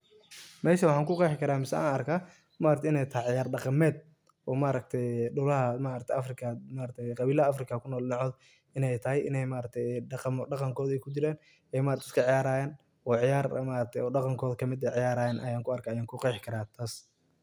Meshan waxan kuqexi karta, mise an arka inay tahay ciyar daqamed cabilaha Africa kunol dinicod inay tahay, inay daqankodha kujiran ay maaragtaye iska ciyarayan, oo ciyar daqankodha kamid ah ciyarayan ayan kuqexi kara tas.